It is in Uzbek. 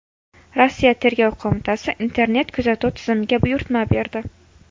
Rossiya Tergov qo‘mitasi internet-kuzatuv tizimiga buyurtma berdi.